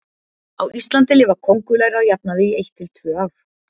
Á Íslandi lifa kóngulær að jafnaði í eitt til tvö ár.